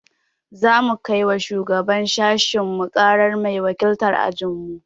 Za mu kai wa shugaban sashinmu ƙarara mai wakiltar ajinmu.